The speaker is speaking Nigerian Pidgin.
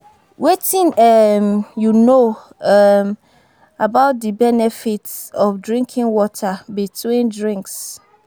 Wetin um you know um about di benefits of drinking water between drinks?